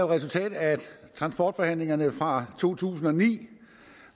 resultat af transportforhandlingerne fra to tusind og ni